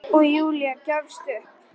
Og Júlía gefst upp.